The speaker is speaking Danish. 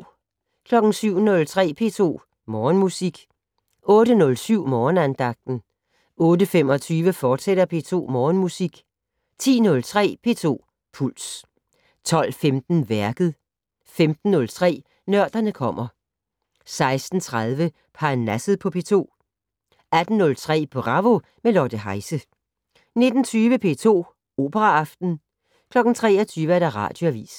07:03: P2 Morgenmusik 08:07: Morgenandagten 08:25: P2 Morgenmusik, fortsat 10:03: P2 Puls 12:15: Værket 15:03: Nørderne kommer 16:30: Parnasset på P2 18:03: Bravo - med Lotte Heise 19:20: P2 Operaaften 23:00: Radioavis